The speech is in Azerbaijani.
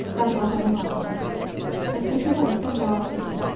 Darvazanı bağladım və səki tərəfdən cavab verdim.